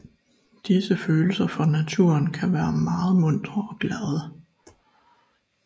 Disse følelser for naturen kan være meget muntre og glade